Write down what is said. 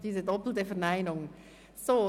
Diese doppelten Verneinungen!